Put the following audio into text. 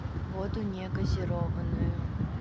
воду не газированную